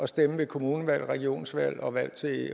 stemme ved kommunevalg regionsvalg og valg til